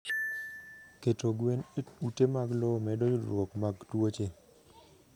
keto gwen e ute mag lowo medo yudruok mag tuoche